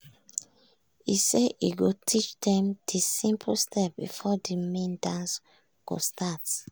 e say e go teach dem de simple step before the main dance go start.